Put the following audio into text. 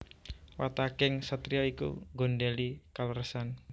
Wataking satriya iku nggondhèli kaleresan